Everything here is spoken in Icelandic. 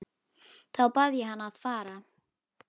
Þá bað ég hann að fara.